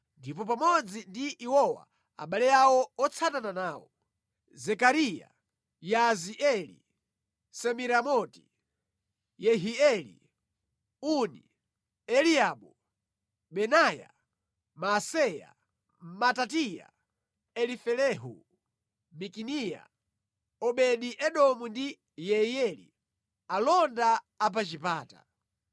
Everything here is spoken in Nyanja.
ndipo pamodzi ndi iwowa abale awo otsatana nawo: Zekariya, Yaazieli, Semiramoti, Yehieli, Uni, Eliabu, Benaya, Maaseya, Matitiya, Elifelehu, Mikineya, Obedi-Edomu ndi Yeiyeli, alonda a pa chipata.